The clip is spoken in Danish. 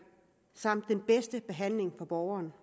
samt den bedste behandling for borgeren